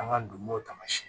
An ka donmow taamasiyɛn